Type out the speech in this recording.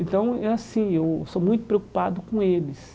Então, é assim, eu sou muito preocupado com eles.